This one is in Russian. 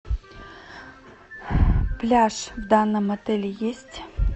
пляж в данном отеле есть